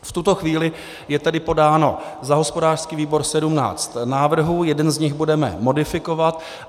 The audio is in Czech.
V tuto chvíli je tedy podáno za hospodářský výbor 17 návrhů, jeden z nich budeme modifikovat.